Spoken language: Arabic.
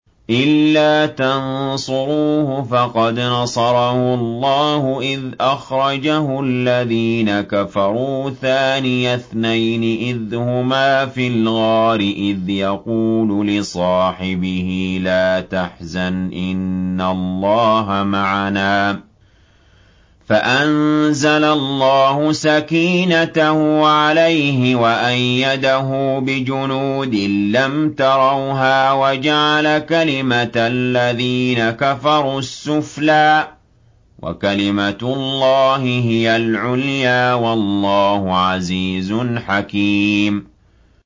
إِلَّا تَنصُرُوهُ فَقَدْ نَصَرَهُ اللَّهُ إِذْ أَخْرَجَهُ الَّذِينَ كَفَرُوا ثَانِيَ اثْنَيْنِ إِذْ هُمَا فِي الْغَارِ إِذْ يَقُولُ لِصَاحِبِهِ لَا تَحْزَنْ إِنَّ اللَّهَ مَعَنَا ۖ فَأَنزَلَ اللَّهُ سَكِينَتَهُ عَلَيْهِ وَأَيَّدَهُ بِجُنُودٍ لَّمْ تَرَوْهَا وَجَعَلَ كَلِمَةَ الَّذِينَ كَفَرُوا السُّفْلَىٰ ۗ وَكَلِمَةُ اللَّهِ هِيَ الْعُلْيَا ۗ وَاللَّهُ عَزِيزٌ حَكِيمٌ